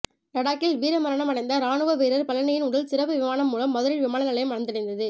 லடாக்கில் வீர மரணம் அடைந்த ராணுவ வீரர் பழனியின் உடல் சிறப்பு விமானம் மூலம் மதுரை விமான நிலையம் வந்தடைந்தது